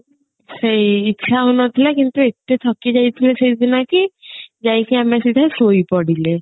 ସେଇ ଇଚ୍ଛା ହଉ ନଥିଲା କିନ୍ତୁ ଏତେ ଥକି ଯାଇଥିଲେ ସେଇଦିନ କି ଯାଇକି ଆମେ ସିଧା ଶୋଇପଡିଲେ